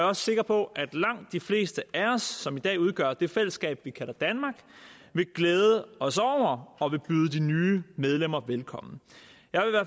også sikker på at langt de fleste af os som i dag udgør det fællesskab vi kalder danmark vil glæde os over og vil byde de nye medlemmer velkommen jeg